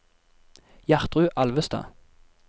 Gjertrud Alvestad